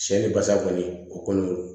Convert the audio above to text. Cɛ ni basa kɔni o kɔni